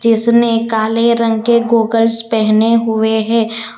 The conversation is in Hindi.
इसने काले रंग के गॉगल्स पहने हुए है।